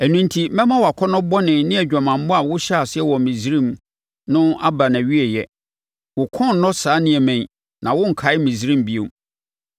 Ɛno enti mɛma wʼakɔnnɔbɔne ne adwamammɔ a wohyɛɛ aseɛ wɔ Misraim no aba nʼawieeɛ. Wo kɔn rennɔ saa nneɛma yi na worenkae Misraim bio.